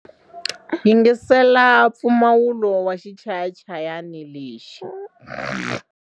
Yingisela mpfumawulo wa xichayachayani lexi.